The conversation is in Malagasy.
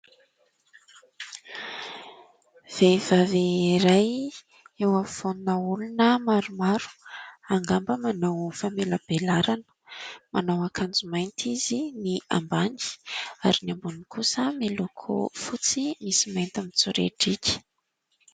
Vehivavy iray eo afovoana olona maromaro angamba manao famelabelarana. Manao akanjo mainty izy ny ambany ary ny amboniny kosa miloko fotsy misy mainty mitsoriadriaka.